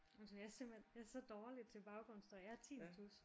Undskyld jeg er simpelthen jeg er simpelthen så dårlig til baggrundsstøj jeg har tinnitus